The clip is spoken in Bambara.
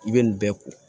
I bɛ nin bɛɛ ko